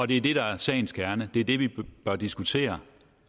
det er det der er sagens kerne det er det vi bør diskutere